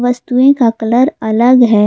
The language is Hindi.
वस्तुएं का कलर अलग है।